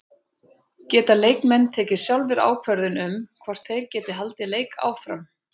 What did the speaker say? Geta leikmenn tekið sjálfir ákvörðun um hvort þeir geti haldið leik áfram?